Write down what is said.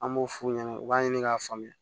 An b'o f'u ɲɛna u b'a ɲini k'a faamuya